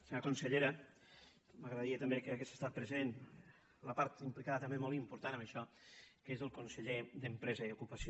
senyora consellera m’agradaria també que hi hagués estat present la part implicada també molt important en això que és el conseller d’empresa i ocupació